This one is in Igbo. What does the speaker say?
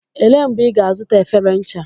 Elee mgbe ị ga-azụta efere ncha?